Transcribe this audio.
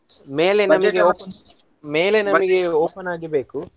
ಮೇಲೆ ನಮಗೆ open ಮೇಲೆ ನಮಗೆ open ನಾಗಿ ಬೇಕು.